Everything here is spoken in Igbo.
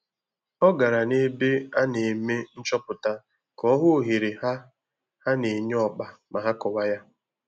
Ọ gara n'ebe a na-eme nchọpụta ka ọ hụ ohere ha ha na-enye ọkpa ma ha kọwa ya